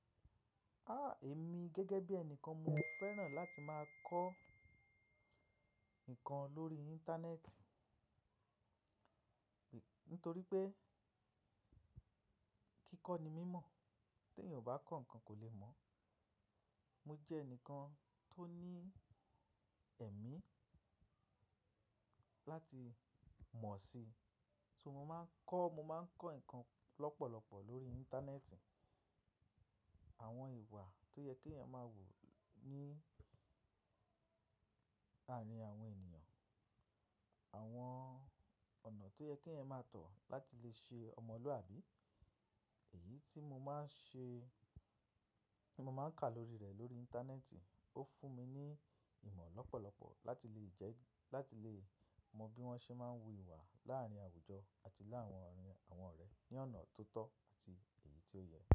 A, èmi gẹ́gẹ́ bí ẹni kan mo fẹ́ràn láti máa kọ́ ǹkan lórí Íńtánẹ́ẹ̀tì nítorí pé kíkọ́ ni mímọ̀, tí ènìyàn o bá kọ ǹkan kò lè mọ̀. Mo jẹ́ ẹnìkan tó ní ẹ̀mí láti mọ̀ sí, ṣó mo máa ń kọ́, mo máa ń kọ́ ǹkan lọ́pọ̀lọpọ̀ lórí Íńtánẹ́ẹ̀tì. Àwọn ìwà tó yẹ kí ènìyàn máa wù ní àárín àwọn ènìyàn, àwọn ọ̀nà tó yẹ kí ẹ̀yàn máa tọ̀ láti lè ṣe ọmọlúwàbí. Èyí tí mo máa ń ṣe, tí mo máa ń kà lórí rẹ̀ lórí Íńtánẹ́ẹ̀tì, ó fún mi ní ìmọ̀ lọ́pọ̀lọpọ̀ láti lè jẹ́, láti lè mọ bí wọ́n ṣe máa ń wu ìwà láàárín àwùjọ àti láàárín àwọn ọ̀rẹ́ ní ọ̀nà tó tọ́ àti èyí tó yẹ.